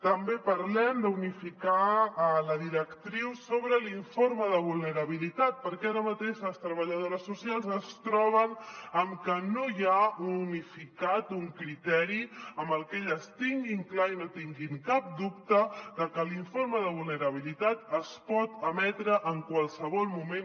també parlem d’unificar la directriu sobre l’informe de vulnerabilitat perquè ara mateix les treballadores socials es troben amb que no hi ha unificat un criteri amb el que elles tinguin clar i no tinguin cap dubte de que l’informe de vulnerabilitat es pot emetre en qualsevol moment